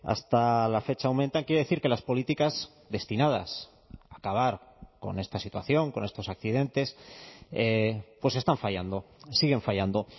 hasta la fecha aumentan quiero decir que las políticas destinadas a acabar con esta situación con estos accidentes pues están fallando siguen fallando